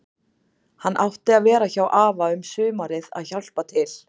Hann átti að vera hjá afa um sumarið að hjálpa til.